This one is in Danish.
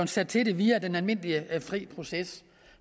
sat til det via den almindelige fri proces